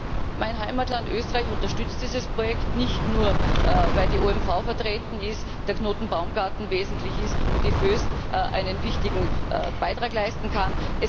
diskutieren. Mein Heimatland Österreich unterstützt dieses Projekt nicht nur, weil die OMV vertreten ist, der Knoten Baumgarten wesentlich ist und die Voest einen wichtigen Beitrag leisten kann.